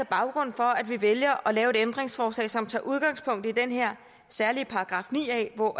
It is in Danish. baggrunden for at vi vælger at lave et ændringsforslag som tager udgangspunkt i den her særlige § ni a hvor